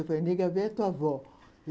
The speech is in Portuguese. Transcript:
Negra velha é tua avó.